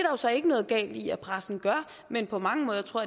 jo så ikke noget galt i at pressen gør men på mange måder tror